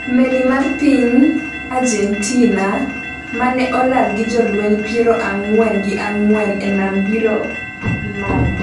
. Meli mar piny gentina mane olal gi jolweny piero ang'wen gi ang'wen e nam biro imanyo